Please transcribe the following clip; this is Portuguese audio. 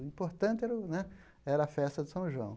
O importante era o né era a festa de São João.